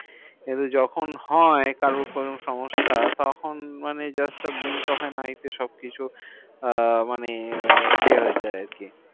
কিন্তু যখন হয় কারো কোনো সমস্যা, তখন মানে just আপনি না এতে সবকিছু আহ মানে ইয়ে হয়েযায় আরকি।